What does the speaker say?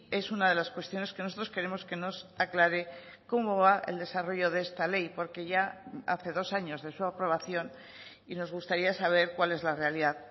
es una de las cuestiones que nosotros queremos que nos aclare cómo va el desarrollo de esta ley porque ya hace dos años de su aprobación y nos gustaría saber cuál es la realidad